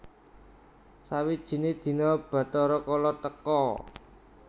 Sawijine dina Bathara Kala teka